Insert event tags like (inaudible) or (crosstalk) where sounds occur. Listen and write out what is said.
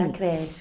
(unintelligible) creche.